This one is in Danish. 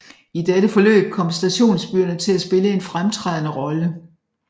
I dette forløb kom stationsbyerne til at spille en fremtrædende rolle